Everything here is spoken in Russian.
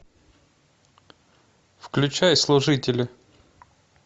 включай служители